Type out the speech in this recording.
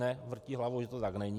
Ne, vrtí hlavou, že to tak není.